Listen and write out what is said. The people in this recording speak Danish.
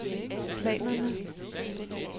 planerne